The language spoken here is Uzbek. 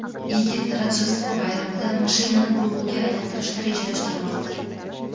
Yigit Rojdestvo bayramida mashinani bug‘uga aylantirishni rejalashtirmoqda.